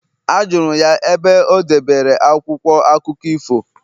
Ajụrụ m ya ebe o debere akwụkwọ akụkọ ifo